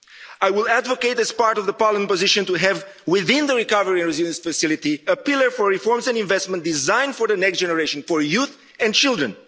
I will advocate as part of the Parliament position to have, within the Recovery and Resilience Facility, a pillar for reforms and investment designed for the next generation, for youth and children.